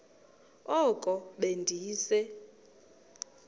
oko be ndise